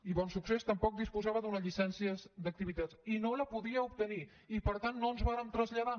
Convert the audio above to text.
i bonsuccés tampoc disposava d’una llicència d’activitat i no la podia obtenir i per tant no ens vàrem traslladar